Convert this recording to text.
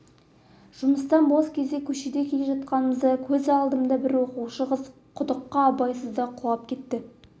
жұмыстан бос кезде көшеде келе жатқанда көз алдымда бір оқушы қыз құдыққа абайсызда құлап кетті